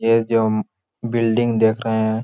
ये जो बिल्डिंग देख रहे है।